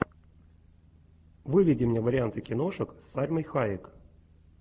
выведи мне варианты киношек с сальмой хайек